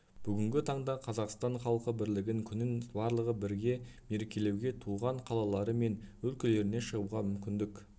бүгінгі таңда қазақстан халқы бірлігін күнін барлығы бірге мерекелеуге туған қалалары мен өлкелеріне шығуға мүмкіндік